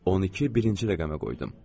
12 birinci rəqəmə qoydum.